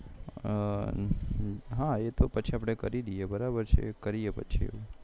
હા એ તો પછી આપડે કરી દઈએ બરાબર છે કરીએ પછી